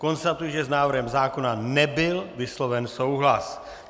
Konstatuji, že s návrhem zákona nebyl vysloven souhlas.